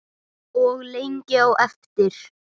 Og lengi á eftir.